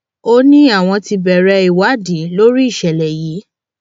ó ní àwọn ti bẹrẹ ìwádìí lórí ìṣẹlẹ yìí